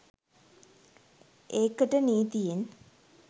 ඒකට නීතියෙන්